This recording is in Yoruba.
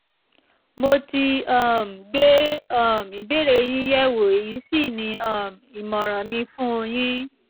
mo ti um gbé um ìbéèrè yín yẹ̀ wò èyí sì ní um ìmọ̀ràn mi fún un yin